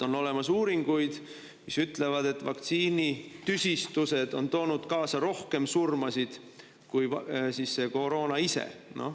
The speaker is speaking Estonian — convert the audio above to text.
On olemas uuringuid, mis ütlevad, et vaktsiinitüsistused on toonud kaasa rohkem surmasid kui koroona ise.